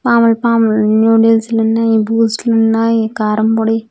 పాములు పాములు నూడుల్స్ లున్నాయి బూస్ట్ లున్నాయి కారంపొడి.